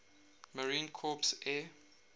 marine corps air